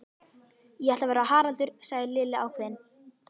Ég ætla að vera Haraldur sagði Lilla ákveðin.